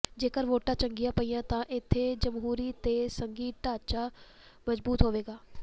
ਜੇਕਰ ਵੋਟਾਂ ਚੰਗੀਆਂ ਪਈਆਂ ਤਾਂ ਇਥੇ ਜਮਹੂਰੀ ਤੇ ਸੰਘੀ ਢਾਂਚਾ ਮਜ਼ਬੂਤ ਹੋਵੇਗਾ